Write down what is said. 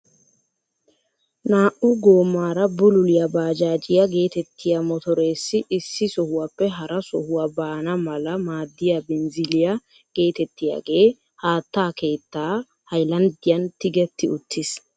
Naa"u goomaara bululiyaa bajaajiyaa getettiyaa motoreessi issi sohuwaappe hara sohuwaa baana mala maaddiyaa binziliyaa getettiyaagee haattaa keettaa haylanddiyaan tigetti uttiis.